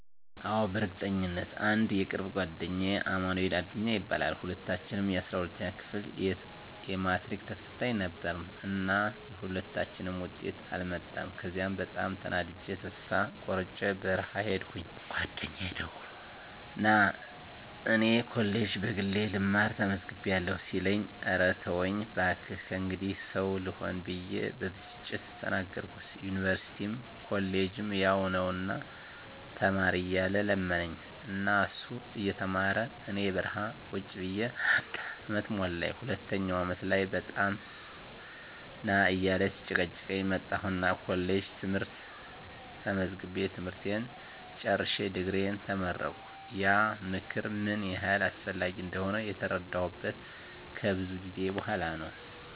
አዎ፣ በእርግጠኝነት! *አንድ የቅርብ ጓደኛዬ አማንኤል አዱኛ ይባላል፦ *ሁለታችንም የ12ኛ ክፍል የማትሪክ ተፈታኝ ነበርን እና የሁለታችንም ውጤት አልመጣም ከዚያ በጣም ተናድጀ ተስፋ ቆርጨ በረሀ ሂድኩኝ ጓደኛየ ደውሎ ና እኔ ኮሌጅ በግሌ ልማር ተመዝግቢያለሁ ሲለኝ እረ ተወኝ ባክህ ከእንግዲህ ሰው ልሆን ብየ በብስጭት ተናገርኩት ዩኒቨርስቲም ኮሌጅም ያው ነው ና ተማር እያለ ለመነኝ እና እሱ እየተማረ እኔ በረሀ ቁጭ ብየ አንድ አመት ሞላኝ ሁለተኛው አመት ላይ በጣም ና እያለ ሲጨቀጭቀኝ መጣሁና ኮሌጅ ትምህርት ተመዝግቤ ትምህርቴን ጨርሸ ድግሪየን ተመረቀሁ። *ያ ምክር ምን ያህል አስፈላጊ እንደሆነ የተረዳሁት ከብዙ ጊዜ በኋላ ነው።